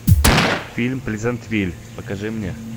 фильм плезантвиль покажи мне